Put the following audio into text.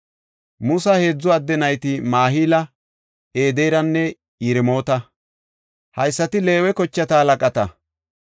Musa heedzu adde nayti Mahila, Ederanne Yiremoota. Haysati Leewe kochata halaqata.